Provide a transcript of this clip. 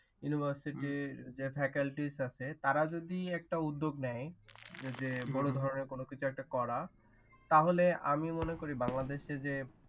university যে faculties আছে তারা যদি উদ্যোগ নেয় যে বড় ধরণের কোনো কিছু একটা করা তাহলে আমি মনে করি বাংলাদেশে যে।